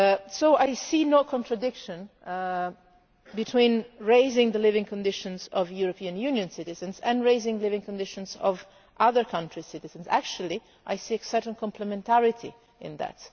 So I see no contradiction between improving the living conditions of European Union citizens and improving the living conditions of other countries' citizens. Actually I see a certain complementarity in that.